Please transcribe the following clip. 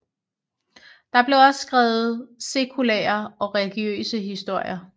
Der blev også skrevet sekulære og religiøse historier